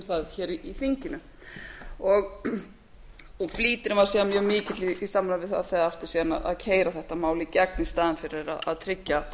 það hér í þinginu flýtirinn var síðan mjög mikill í samræmi við það þegar átti síðan að keyra þetta mál í gegn í staðinn fyrir að tryggja